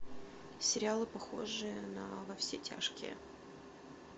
сериалы похожие на во все тяжкие